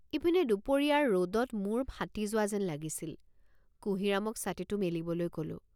ইপিনে দুপৰীয়াৰ ৰদত মুৰ ফাটি যোৱা যেন লাগিছিল কুঁহিৰামক ছাতিটো মেলিবলৈ কলোঁ।